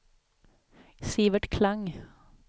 Sivert Klang